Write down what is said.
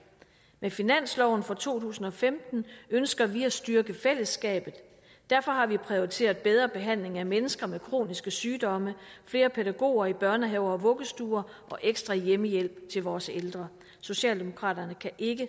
med finansloven for to tusind og femten ønsker vi at styrke fællesskabet derfor har vi prioriteret bedre behandling af mennesker med kroniske sygdomme flere pædagoger i børnehaver og vuggestuer og ekstra hjemmehjælp til vores ældre socialdemokraterne kan ikke